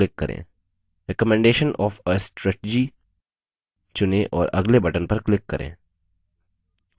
recommendation of a strategy चुनें और अगले button पर click करें